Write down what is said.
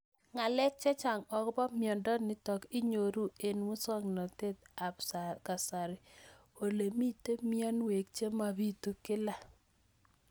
Ng'alek chechang' akopo miondo nitok inyoru eng' muswog'natet ab kasari ole mito mianwek che mapitu kila